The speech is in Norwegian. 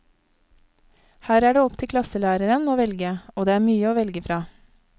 Her er det opp til klasselæreren å velge, og det er mye å velge fra.